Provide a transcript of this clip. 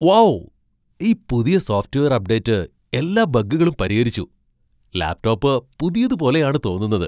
Wow , ഈ പുതിയ software update എല്ലാ ബഗ്ഗുകളും പരിഹരിച്ചു. ലാപ്ടോപ്പ് പുതിയത് പോലെയാണ് തോന്നുന്നത്!